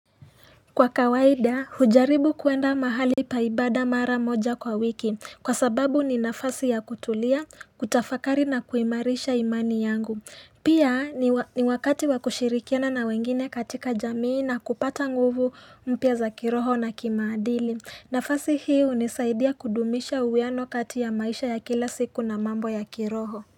Kwa kawaida, hujaribu kuenda mahali paibada mara moja kwa wiki kwa sababu ni nafasi ya kutulia, kutafakari na kuimarisha imani yangu. Pia ni wakati wakushirikiana na wengine katika jamii na kupata nguvu mpya za kiroho na kimaadili. Nafasi hii hunisaidia kudumisha uwiano kati ya maisha ya kila siku na mambo ya kiroho.